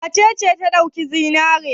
Wace ce ta ɗauki zinare?